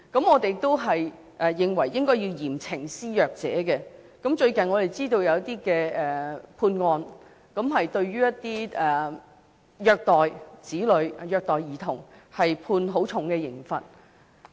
我們認為應該要嚴懲施虐者，最近我們知道有一些判例，對一些虐待兒童、子女的人士判處很重的刑罰。